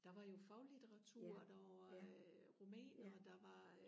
der var jo faglitteratur der var romaner og der var